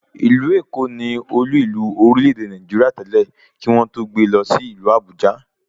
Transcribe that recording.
Ìlú Èkó ni Olú ìlú orílẹ̀ èdè Nàìjíríà tẹ́lẹ̀, kí wọ́n tó gbe lọ sí ìlú Àbújá